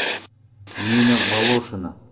нина волошина